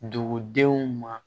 Dugudenw ma